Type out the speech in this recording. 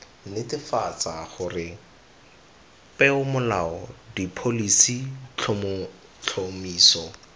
netefatsa gore peomolao dipholisi tlhotlhomiso